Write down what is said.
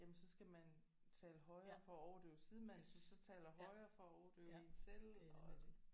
Jamen så skal man tale højere for at overdøve sidemanden som så taler højere for at overdøve en selv og